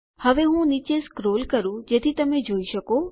હવે હું નીચે સ્ક્રોલ કરું જેથી તમે જોઈ શકો